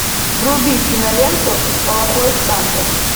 вруби киноленту плохой санта